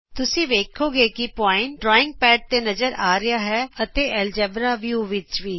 ਤੁਸੀਂ ਵੇਖੋਗੇ ਕਿ ਬਿੰਦੂ ਡਰਾਇੰਗ ਪੈੱਡ ਤੇ ਨਜ਼ਰ ਆ ਰਿਹਾ ਹੈ ਅਤੇ ਐਲਜਬਰਾ ਵਿਊ ਵਿਚ ਵੀ